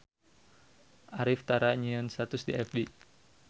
Arif tara nyieun status di fb